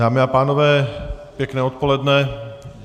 Dámy a pánové, pěkné odpoledne.